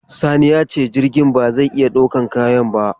Sani ya ce jirgin ba zai iya daukar kayan ba.